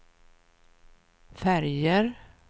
färger